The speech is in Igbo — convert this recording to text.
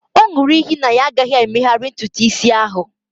ọ ṅụrụ iyi na ya agaghị emegharị ntutu isi ahụ